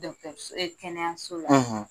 Dɔgɔtɔrɔso kɛnɛyaso la,